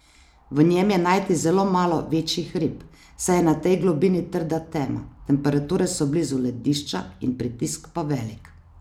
V njem je najti zelo malo večjih rib, saj je na tej globini trda tema, temperature so blizu ledišča in pritisk pa velik.